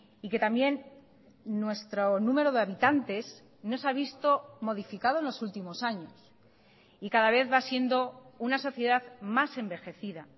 y que también nuestro número de habitantes no se ha visto modificado en los últimos años y cada vez va siendo una sociedad más envejecida